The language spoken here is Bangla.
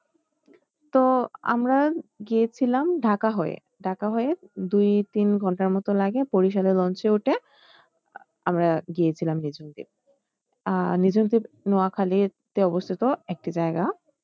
তো আমরা গিয়েছিলাম ঢাকা হয়ে ঢাকা হয়ে দুই তিন ঘণ্টার মতো লাগে বরিশালে lunch এ উঠে আমরা গিয়েছিলাম নিঝুম দ্বীপ আহ নিঝুম দ্বীপ নোয়াখালীতে অবস্থিত একটি জায়গা।